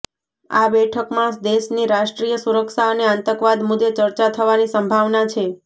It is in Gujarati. આ બેઠકમાં દેશની રાષ્ટ્રીય સુરક્ષા અને આતંકવાદ મુદે ચર્ચા થવાની સંભાવના છે